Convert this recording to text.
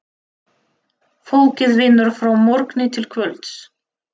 Fólkið vinnur frá morgni til kvölds.